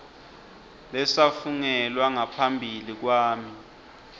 lesafungelwa ngaphambi kwami